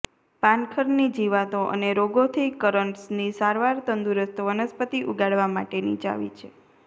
પાનખરની જીવાતો અને રોગોથી કરન્ટસની સારવાર તંદુરસ્ત વનસ્પતિ ઉગાડવા માટેની ચાવી છે